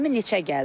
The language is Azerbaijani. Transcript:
20 neçə gəldi.